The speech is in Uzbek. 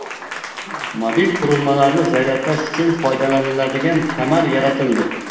Mobil qurilmalarni zaryadlash uchun foydalaniladigan kamar yaratildi.